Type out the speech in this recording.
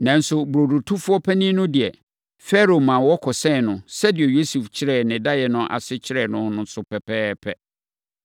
Nanso, ne burodotofoɔ panin no deɛ, Farao ma wɔkɔsɛn no sɛdeɛ Yosef kyerɛɛ ne daeɛ no ase kyerɛɛ no no pɛpɛɛpɛ.